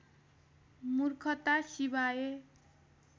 मूर्खता सिवाय